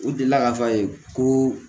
U delila k'a fɔ a ye ko